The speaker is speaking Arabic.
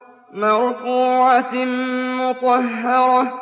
مَّرْفُوعَةٍ مُّطَهَّرَةٍ